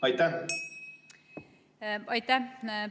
Aitäh!